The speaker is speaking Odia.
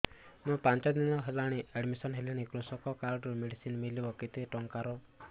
ମୁ ପାଞ୍ଚ ଦିନ ହେଲାଣି ଆଡ୍ମିଶନ ହେଲିଣି କୃଷକ କାର୍ଡ ରୁ ମେଡିସିନ ମିଳିବ କେତେ ଟଙ୍କାର